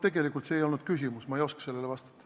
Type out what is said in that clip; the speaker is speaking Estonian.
Tegelikult ei olnud see küsimus, ma ei oska sellele vastata.